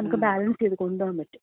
നമുക്ക് ബാലൻസ് ചെയ്ത് കൊണ്ടുപോകാമ്പറ്റും.